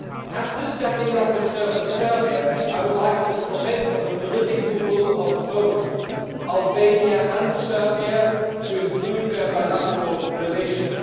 As the standing rapporteur for Serbia I would like to comment on the political will of both Albania and Serbia to improve their bilateral relations.